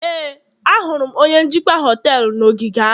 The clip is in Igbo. Éè, ahụrụ m onye njikwa họtelu na ogige ahụ